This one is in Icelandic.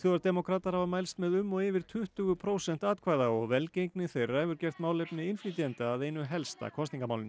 svíþjóðardemókratar hafa mælst með um og yfir tuttugu prósent atkvæða og velgengni þeirra hefur gert málefni innflytjenda að einu helsta kosningamálinu